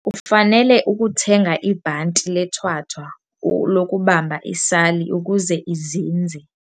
Ufanele ukuthenga ibhanti lethwathwa lokubamba isali ukuze izinze.